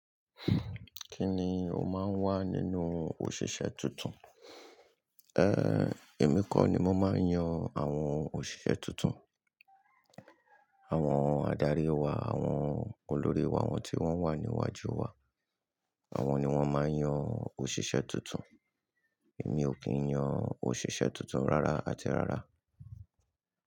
Kí ni ó máa ń wà nínú òṣìṣẹ́ tuntun? Èmi kọ́ ni mo máa ń yan àwọn òṣìṣẹ́ tuntun. Àwọn adarí wa, àwọn olórí wa, àwọn tí wọ́n wà níwájú wa. Àwọn ni wọ́n máa ń yan òṣìṣẹ́ tuntun. Èmi ò kì í yan òṣìṣẹ́ tuntun rárá àti rárá.